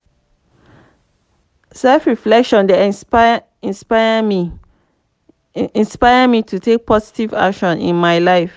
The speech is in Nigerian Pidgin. self-reflection dey inspire me inspire me to take positive action in my life.